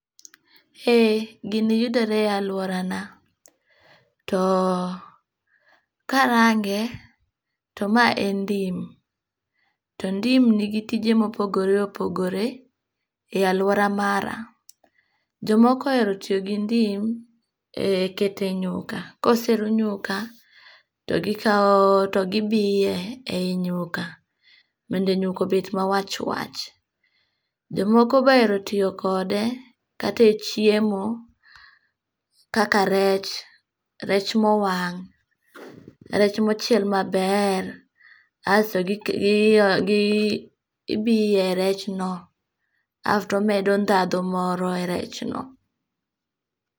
Eeh, gini yudore e aluorana. To karange to mae en ndim, to ndim nigi tije mopogore opogore e aluora mara. Jomoko oero tio gi ndim eh kete nyuka, koseruu nyuka, to gikao to gibie eh e nyuka, mondo nyuka obet mawachwach. Jomoko be ohero tio kode kata e chiemo kaka rech, rech mowang' rech mochiel maber, asto gik gio gii ibiye e rechno afto medo ndadhu moro e rechno.